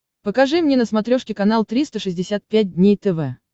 покажи мне на смотрешке канал триста шестьдесят пять дней тв